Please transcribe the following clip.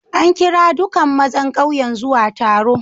An kira duƙan mazan ƙauyen zuwa taro.